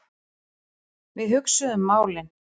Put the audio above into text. Við hugsuðum málin.